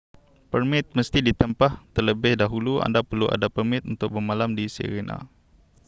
permit mesti ditempah terlebih dahulu anda perlu ada permit untuk bermalam di sirena